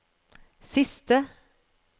siste